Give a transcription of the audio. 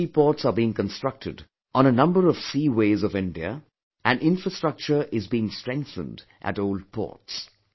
New seaports are being constructed on a number of seaways of India and infrastructure is being strengthened at old ports